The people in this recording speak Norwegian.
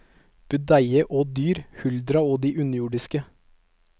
Budeie og dyr, huldra og de underjordiske.